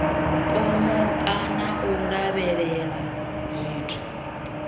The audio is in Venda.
pomoka na u lavhelela zwithu